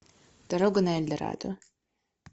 дорога на эльдорадо